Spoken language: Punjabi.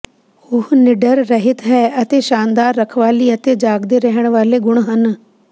ਉਹ ਨਿਡਰ ਰਹਿਤ ਹੈ ਅਤੇ ਸ਼ਾਨਦਾਰ ਰਖਵਾਲੀ ਅਤੇ ਜਾਗਦੇ ਰਹਿਣ ਵਾਲੇ ਗੁਣ ਹਨ